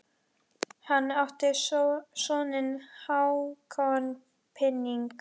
Hann átti soninn Hákon Píning.